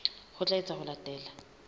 ho tla etswa ho latela